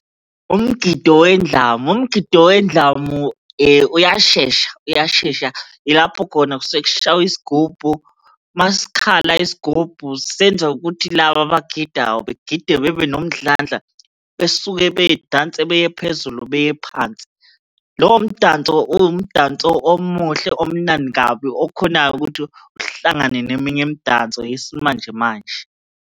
Umgido wendlamu, umgido wendlamu uyashesha. Uyashesha yilapho khona kusuke kushaywa isigubhu, uma sikhala isigubhu senza ukuthi laba abangididayo begide bebe nomdlandla, besuke bedanse beye phezulu beye phansi. Lowo mdanso, uwumdanso omuhle omnandi kabi, okhonayo ukuthi uhlangane neminye imdanso yesimanjemanje.